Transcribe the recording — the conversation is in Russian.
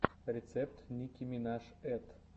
рецепт ники минаж эт